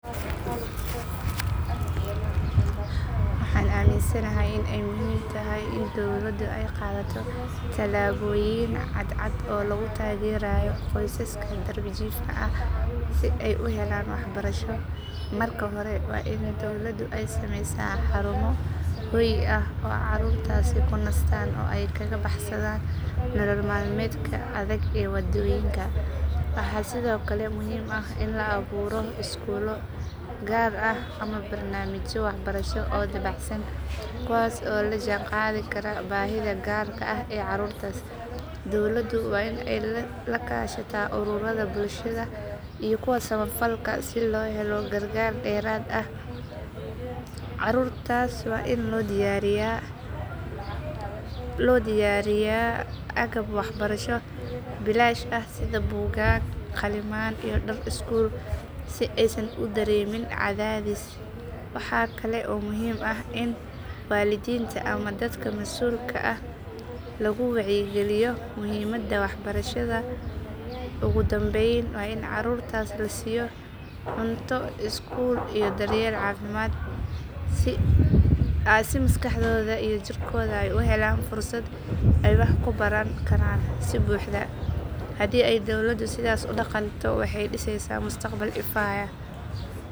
Waxaan aaminsanahay in ay muhiim tahay in dawladdu ay qaadato tallaabooyin cad cad oo lagu taageerayo qoysaska darbijiifka ah si ay u helaan waxbarasho. Marka hore waa in dawladdu ay sameysaa xarumo hoy ah oo carruurtaasi ku nastaan oo ay kaga baxsadaan nolol maalmeedka adag ee waddooyinka. Waxaa sidoo kale muhiim ah in la abuuro iskuullo gaar ah ama barnaamijyo waxbarasho oo dabacsan kuwaas oo la jaan qaadi kara baahida gaarka ah ee carruurtaas. Dawladdu waa in ay la kaashataa ururada bulshada iyo kuwa samafalka si loo helo gargaar dheeraad ah. Carruurtaas waa in loo diyaariyaa agab waxbarasho bilaash ah sida buugaag, qalimaan iyo dhar iskuul si aysan u dareemin cadaadis. Waxaa kale oo muhiim ah in waalidiinta ama dadka masuulka ka ah lagu wacyigeliyo muhiimadda waxbarashada. Ugu dambayn, waa in carruurtaas la siiyo cunto iskuul iyo daryeel caafimaad si maskaxdooda iyo jirkooda ay u helaan fursad ay wax ku baran karaan si buuxda. Haddii ay dawladdu sidaas u dhaqanto waxay dhiseysaa mustaqbal ifaya.